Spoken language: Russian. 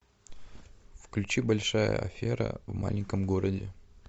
включи большая афера в маленьком городе